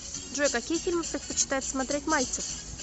джой какие фильмы предпочитает смотреть мальцев